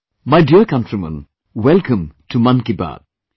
My dear countrymen, welcome to 'Mann Ki Baat'